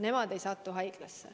Nemad ei satu haiglasse.